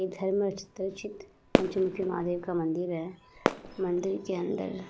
इधर महादेव का मंदिर है। मंदिर के अंदर --